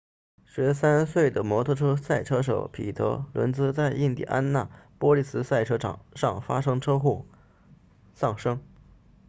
13岁的摩托车赛车手彼得伦茨在印第安纳波利斯赛车场上发生车祸丧生